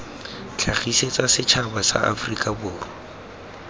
tlhagisetsa setšhaba sa aforika borwa